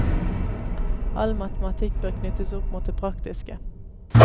All matematikk bør knyttes opp mot det praktiske.